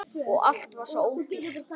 Og allt var svo ódýrt!